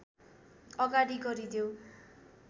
अगाडि गरिदेऊ